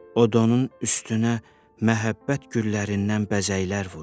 O donun üstünə məhəbbət güllərindən bəzəklər vurur.